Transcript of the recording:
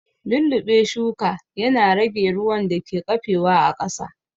Lulluɓe shuka ya na rage ruwan da ke ƙafe wa a ƙasa